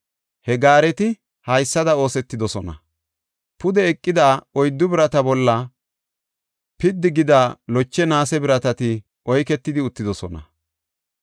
He gaareti haysada oosetidosona; pude eqida oyddu birata bolla piddi gida loche naase biratati oyketidi uttidosona.